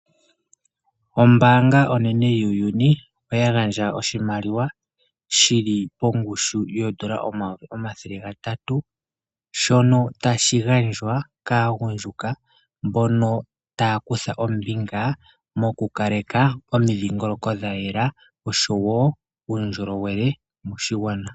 Ombaanga onene yuuyuni oya gandja oshimaliwa shili pongushu yoodola omayovi omathele gatatu shono tashi gandjwa kaagundjuka mbono taa kutha ombinga mokukaleka omidhingoloko dha yela osho woo uundjolowele moshigwana.